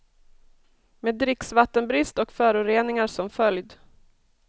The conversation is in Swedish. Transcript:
Med dricksvattenbrist och föroreningar som följd.